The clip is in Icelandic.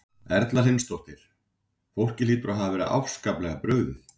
Erla Hlynsdóttir: Fólki hlýtur að hafa verið afskaplega brugðið?